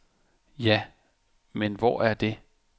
Ja, men hvor er det?